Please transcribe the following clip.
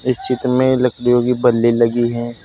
इस चित्र में लकड़ियों कि बल्लि लगी है।